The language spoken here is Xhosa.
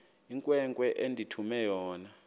inkwenkwe endithume yona